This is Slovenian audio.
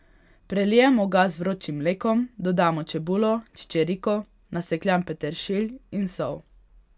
Prelijemo ga z vročim mlekom, dodamo čebulo, čičerko, nasekljan peteršilj in sol.